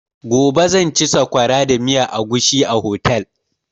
Gobe zan ci sakwara da miyan agushi a otel.